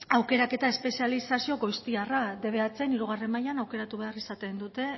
aukeraketa espezializazio goiztiarra dbhen hirugarren mailan aukeratu behar izaten dute